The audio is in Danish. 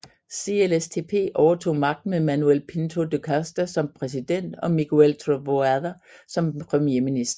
CLSTP overtog magten med Manuel Pinto da Costa som præsident og Miguel Trovoada som premierminister